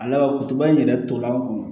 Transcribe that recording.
A laban kutuba in yɛrɛ tora an kun